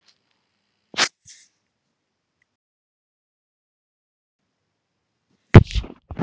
Hvernig stækka vöðvarnir?